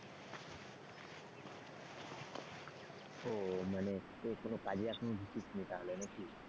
ও মানে কোন কাজে এখনো ডুকিসনি তাহলে নাকি?